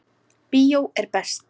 Bíó er best.